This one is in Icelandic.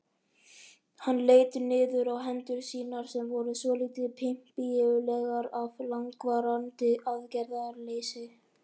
Hann leit niður á hendur sínar sem voru svolítið pempíulegar af langvarandi aðgerðarleysi.